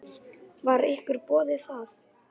Var ykkur boðið það?